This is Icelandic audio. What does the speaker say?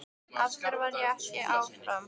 Af hverju varð ég ekki áfram?